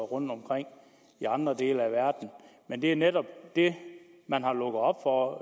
rundtomkring i andre dele af verden men det er netop det man har lukket op for